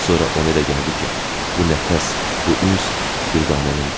Sonra ona elə gəldi ki, bu nəfəs, bu üns dürdanənindir.